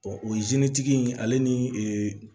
o ye tigi in ale ni ee